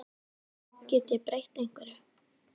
Get ég breytt einhverju?